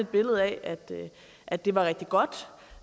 billede af at det var rigtig godt og